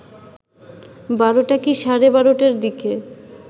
১২টা কি সাড়ে ১২টার দিকে